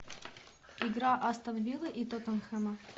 игра астон виллы и тоттенхэма